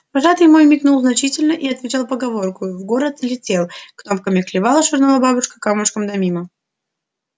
вожатый мой мигнул значительно и отвечал поговоркою в город летел кнопками клевал швырнула бабушка камушком да мимо